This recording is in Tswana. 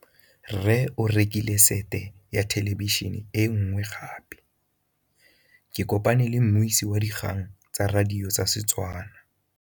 Rre o rekile sete ya thêlêbišênê e nngwe gape. Ke kopane mmuisi w dikgang tsa radio tsa Setswana.